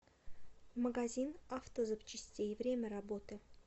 магазин автозапчастей время работы